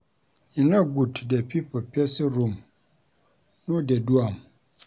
E no good to dey peep for pesin room, no dey do am.